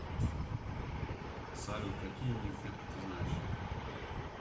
салют какие нимфетка ты знаешь